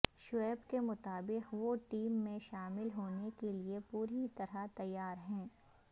شعیب کے مطابق وہ ٹیم میں شامل ہونے کے لیے پوری طرح تیار ہیں